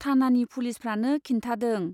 थानानि पुलिसफ्रानो खिन्थादों।